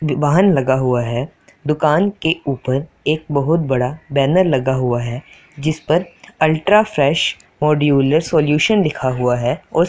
वाहन लगा हुआ है दुकान के ऊपर एक बहुत बड़ा बैनर लगा हुआ है जिसपर अल्ट्रा फ्रेश मॉड्यूलर सॉल्यूशन लिखा हुआ है और--